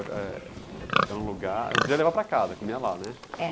Era, eh, eh, é um lugar, não podia levar para casa, comia lá, né?.